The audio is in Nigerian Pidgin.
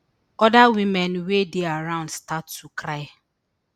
oda women wey dey around start to cry